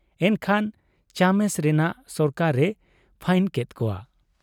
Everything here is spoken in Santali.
ᱮᱱᱠᱷᱟᱱ ᱪᱟᱢᱮᱥ ᱨᱮᱱᱟᱜ ᱥᱚᱨᱠᱟᱨ ᱮ ᱯᱷᱟᱭᱤᱱ ᱠᱮᱫ ᱠᱚᱣᱟ ᱾